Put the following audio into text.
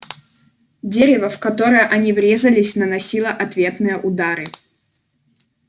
дерево в которое они врезались наносило ответные удары